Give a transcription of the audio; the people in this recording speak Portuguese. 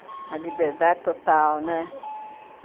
A liberdade total, né? Uhum.